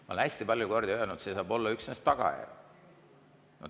Ma olen hästi palju kordi öelnud, et see saab olla üksnes tagajärg.